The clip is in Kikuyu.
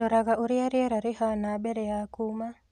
Ndoraga ũrĩa rĩera rĩhana mbere ya kuuma.